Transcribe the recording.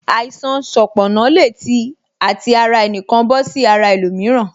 Àìsàn sanponna le tí àti ara ẹnikan bọ sí ara ẹlòmíràn